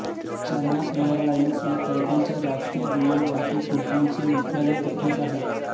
China airlines ह्या तैवानच्या राष्ट्रीय विमान वाहतूक कंपनीचे मुख्यालय येथेच आहे